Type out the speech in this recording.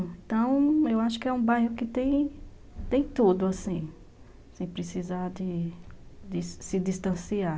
Então, eu acho que é um bairro que tem tudo, assim, sem precisar de se distanciar.